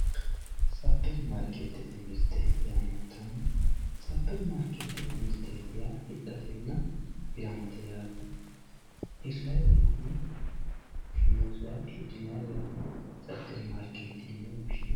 superimarikeetete mirte yaamantanno superimaarikeetete mirteeti yaa hidhatenna hiratemate yaate hurrayi woytenon fushshine hirrayi hidhinay woteno superimarikeetete yinse woshshinanni